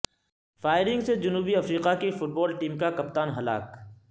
firing سے جنوبی افریقہ کی فٹبال ٹیم کا کپتان ہلاک